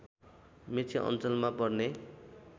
मेची अञ्चलमा पर्ने